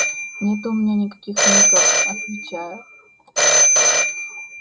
нет у меня никаких ников отвечаю